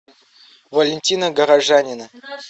валентина горожанина